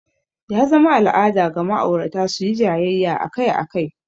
Ya zama al'ada ga ma'aurata su yi jayayya akai-akai.